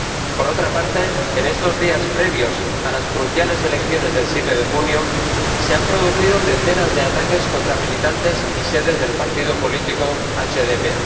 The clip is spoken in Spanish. Por último, en estos días previos a las cruciales elecciones del 7 de junio, se han producido decenas de ataques contra militantes y sedes del partído político HDP.